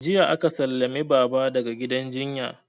Jiya aka sallame baba daga gidan jinya